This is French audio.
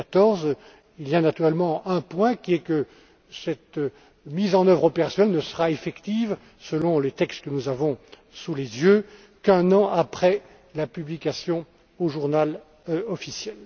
2014. Il y a naturellement lieu de souligner que cette mise en œuvre opérationnelle ne sera effective, selon les textes que nous avons sous les yeux, qu'un an après la publication au Journal officiel.